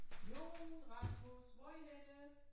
Jon Rasmus hvor I henne?